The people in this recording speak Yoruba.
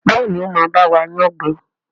Béèni o má ba wa yán gbé.